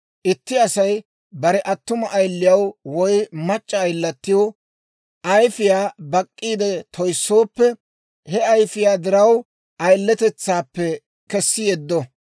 «Itti Asay bare attuma ayiliyaw woy mac'c'a ayilatiw ayfiyaa bak'k'iide toyssooppe, he ayfiyaa diraw ayiletetsaappe kessi yeddo.